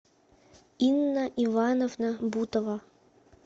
инна ивановна бутова